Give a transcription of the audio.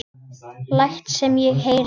Læt sem ég heyri.